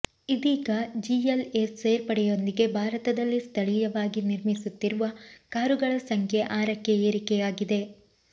ಇದೀಗ GL A ಸೇರ್ಪಡೆಯೊಂದಿಗೆ ಭಾರತದಲ್ಲಿ ಸ್ಥಳೀಯವಾಗಿ ನಿರ್ಮಿಸುತ್ತಿರುವ ಕಾರುಗಳ ಸಂಖ್ಯೆ ಆರಕ್ಕೆ ಏರಿಕೆಯಾಗಿದೆ